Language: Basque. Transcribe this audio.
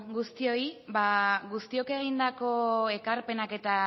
guztioi guztiok egindako ekarpenak eta